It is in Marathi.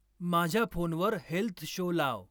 माझ्या फोनवर हेल्थ शो लाव